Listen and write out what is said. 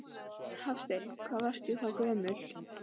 Hafsteinn: Hvað varstu þá gömul?